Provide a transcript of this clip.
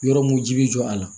Yɔrɔ mun ji bɛ jɔ a la